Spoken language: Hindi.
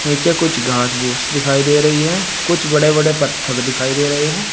नीचे कुछ घास फूस दिखाई दे रही हैं कुछ बड़े बड़े पत्थर दिखाई दे रहे हैं।